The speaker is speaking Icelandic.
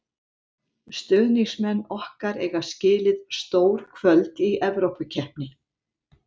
Stuðningsmenn okkar eiga skilið stór kvöld í Evrópukeppni.